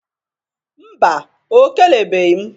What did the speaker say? Mba, o kelebeghi m